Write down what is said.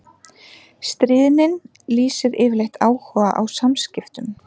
Stríðnin lýsir yfirleitt áhuga á samskiptum.